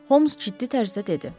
Holms ciddi tərzdə dedi.